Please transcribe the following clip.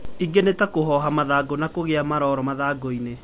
Ĩngĩ nĩ ta kũhoha mathangũ na kũgĩa maroro mathangũinĩ